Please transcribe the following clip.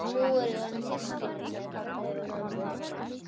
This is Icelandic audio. Nú erum við orðin systkin sagði pabbi við mömmu.